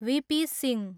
VP. Singh